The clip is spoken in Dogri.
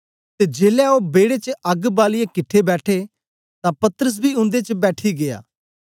ते जेलै ओ बेड़े च अग्ग बालीईयै किट्ठे बैठे तां पतरस बी उन्दे बेच बैठी गीया